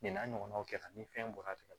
Nin n'a ɲɔgɔnnaw kɛra ni fɛn bɔra tan de